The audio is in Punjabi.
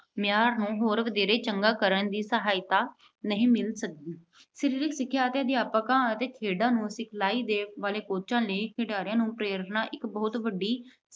ਮਿਆਰ ਨੂੰ ਹੋਰ ਵਧੇਰੇ ਚੰਗਾ ਕਰਨ ਵਿੱਚ ਸਹਾਇਤਾ ਨਹੀਂ ਮਿਲ ਸਕਦੀ। ਸਰੀਰਕ ਸਿੱਖਿਆ ਦੇ ਅਧਿਆਪਕਾਂ ਅਤੇ ਖੇਡਾਂ ਨੂੰ ਸਿਖਲਾਈ ਦੇਣ ਵਾਲੇ coach ਖਿਡਾਰੀਆਂ ਨੂੰ ਪ੍ਰੇਰਨਾ ਇੱਕ ਬਹੁਤ ਵੱਡੀ